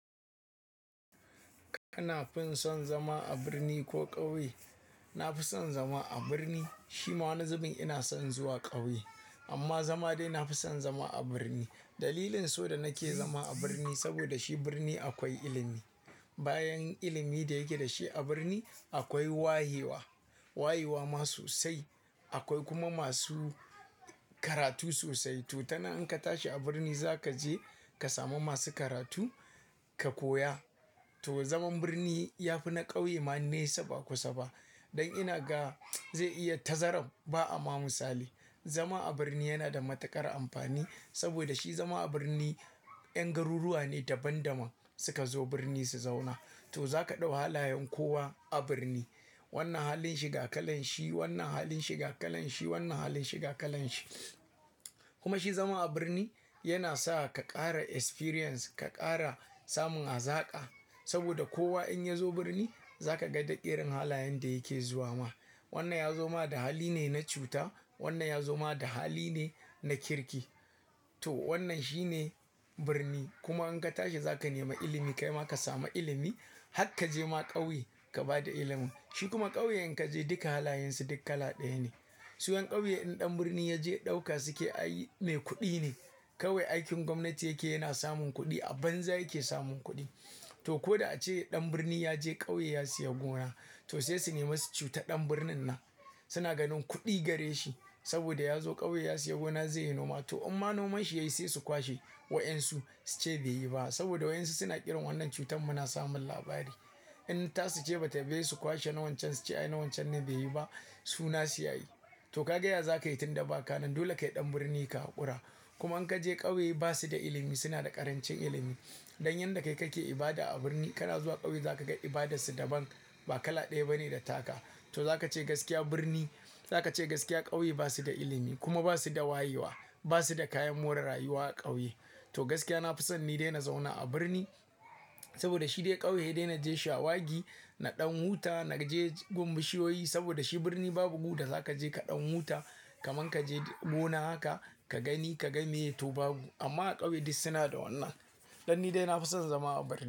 Kana fin son zama a birni ko ƙauye? Na fi son zama a birni. Shi ma wani zubin ina son zuwa ƙauye amma zama dai na fi son zama a birni. Dalilin so da nake zama a birni saboda shi birni akwai ilimi. Bayan ilimi da yake da shi a birni akwai wayewa, wayewa ma sosai akwai kuma masu karatu sosai, to tanan in ka tashi a birni za ka je ka samu masu karatu ka koya. To zaman birni ya fi na ƙauye ma nesa ba kusa ba. Don ina ga zai iya tazaram ba'ama misali. Zama a birni yana da matukar amfani saboda shi zama a birni 'yan garuruwa ne daban-daban suka zo birni su zauna. To za ka ɗau halayen kowa a birni. Wannan halin shi ga kalan shi, wannan halin shi ga kalan shi, wannan halin shi ga kalan shi. Kuma shi zama a birni yana sa ka ƙara experience, ka ƙara samun hazaƙa saboda kowa in ya zo birni za ka ga da irin halayen da yake zuwa ma. Wannan ya zo ma da hali ne na cuta, wannan ya zo ma da hali ne na kirki. To wannan shi ne birni. Kuma in ka tashi za ka nema ilimi kai ma ka samu ilimi. Hakka je ma ƙauye ka ba da ilimin. Shi kuma ƙauye in ka je duka halayen su duk kala ɗaya ne. Su 'yan ƙauye in ɗan birni ya je ɗauka suke ay me kuɗi ne. Kawai aikin gwamnati yake yana samun kuɗi, a banza yake samun kuɗi. To ko da ace ɗan birni ya je ƙauye ya siya gona, to sai su nema su cuta ɗan birnin nan. Suna ganin kuɗi gare shi saboda ya zo ƙauye ya siya gona zai yi noma. To imma nomanshi yayi sai su kwashe wa 'yan su su ce bai yi ba saboda wa 'yan su suna irin wannan cutan muna samun labari. In ta suce batayi ba hesu kwashe na wancan su ce ay na wancan ne bai yi ba su nasu yayi. To ka ga yaya za ka yi tun da ba kanan dole kai ɗan birni ka haƙura. Kuma in ka je ƙauye ba su da ilimi, suna da ƙarancin ilimi. Don yanda kai kake ibada a birni kana zuwa ƙauye za ka ga ibadarsu daban, ba kala ɗaya bane da taka. To za ka ce gaskiya birni, za ka ce gaskiya ƙauye ba su da ilimi kuma ba su da wayewa. Ba su da kayan more rayuwa a ƙauye. To gaskiya na fi son ni dai na zauna a birni saboda shi dai ƙauye hedai na je shawagi, na ɗan huta, na je gun bishiyoyi saboda shi birni babu gu da za ka je ka ɗan huta. Kaman ka je gona haka ka gani ka ga miye to babu. Amma a ƙauye dai suna da wannan. Don ni dai na fi son zama a birni.